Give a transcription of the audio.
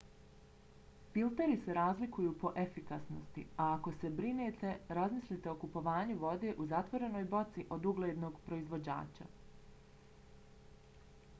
filteri se razlikuju po efikasnosti a ako se brinete razmislite o kupovanju vode u zatvorenoj boci od uglednog proizvođača